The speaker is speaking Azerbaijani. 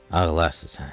Ağlarsız hə.